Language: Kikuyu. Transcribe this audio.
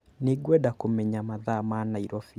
Nĩngwenda kũmenya mathaa ma Nairobi.